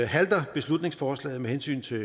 halter beslutningsforslaget med hensyn til